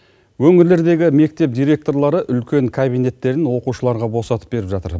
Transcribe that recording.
өңірлердегі мектеп директорлары үлкен кабинеттерін оқушыларға босатып беріп жатыр